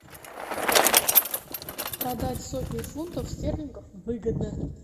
продать сотню фунтов стерлингов выгодно